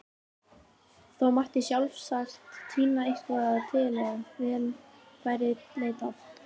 Þó mætti sjálfsagt tína eitthvað til ef vel væri leitað.